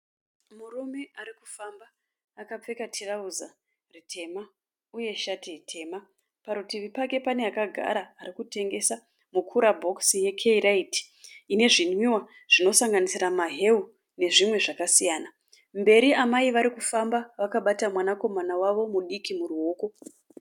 Murume ari kufamba akapfeka tirauza ritema uye shati tema. Parutivi pake pane akagara ari kutengesa mukura bhokisi yekeyiraiti ine zvinwiwa zvinosanganisira mahewu nezvimwe zvakasiyana. Mberi amai vari kufamba vakabata mwanakomana wawo mudiki muruoko.